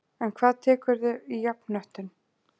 En hvað tekurðu í jafnhöttun?